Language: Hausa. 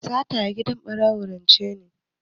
Sata a gidan ɓarawo rance ne.